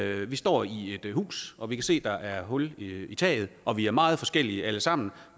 vi står i et hus og kan se at der er hul i taget og vi er meget forskellige alle sammen